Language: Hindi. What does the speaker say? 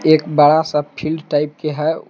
एक बड़ा सब फील्ड टाइप के है।